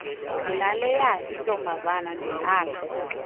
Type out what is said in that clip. ndinaleya intombazana ndidlala